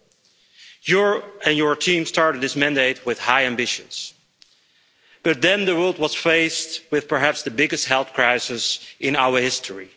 Madam President, you and your team started this mandate with high ambitions. But then the world was faced with perhaps the biggest health crisis in our history.